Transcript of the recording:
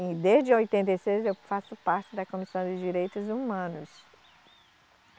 E desde oitenta e seis eu faço parte da Comissão de Direitos Humanos.